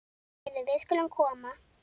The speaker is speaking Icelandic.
Heyrðu, við skulum koma.